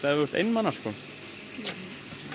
ef þú ert einmana